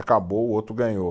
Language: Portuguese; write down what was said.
Acabou, o outro ganhou.